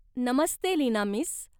Namaste, Leena miss!